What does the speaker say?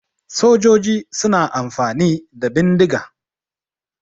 Sojoji suna amfani da bindiga.